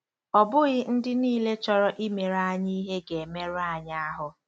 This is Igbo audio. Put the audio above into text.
Ọ bụghị ndị niile chọrọ imere anyị ihe ga-emerụ anyị ahụ́.